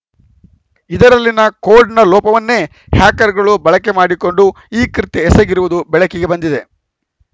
ಇದರಲ್ಲಿನ ಕೋಡ್‌ನ ಲೋಪವನ್ನೇ ಹ್ಯಾಕರ್‌ಗಳು ಬಳಕೆ ಮಾಡಿಕೊಂಡು ಈ ಕೃತ್ಯ ಎಸಗಿರುವುದು ಬೆಳಕಿಗೆ ಬಂದಿದೆ